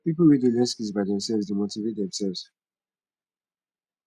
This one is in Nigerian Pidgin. pipo wey de learn skills by themselves de motivate themselves